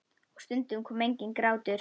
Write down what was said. Og stundum kom enginn grátur.